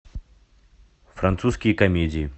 французские комедии